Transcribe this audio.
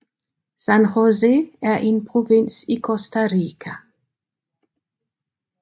San José er en provins i Costa Rica